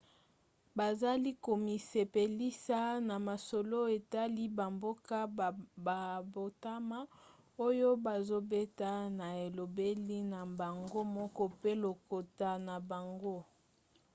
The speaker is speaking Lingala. bazali komisepelisa na masolo etali bamboka babotama oyo bazobeta na elobeli na bango moko pe lokota na bango